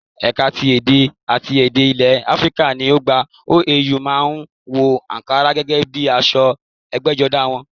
Ẹ̀ka ti èdè àti èdè ilè Áfíríkà ní ọgbà OAU má a ń wọ àǹkará gẹ́gẹ́ bíi aṣọ ẹgbẹ́jọdá wọn